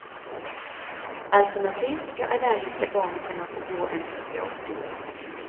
Alternativt ska allergiska barn kunna få gå en specialskola.